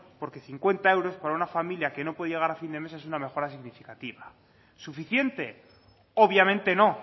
porque cincuenta euros para una familia que no puede llegar a fin de mes es una mejora significativa suficiente obviamente no